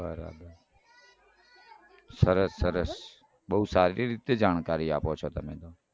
બરાબર સરસ સરસ બઉ સારી રીતે જાણકારી આપો છો તમે તો.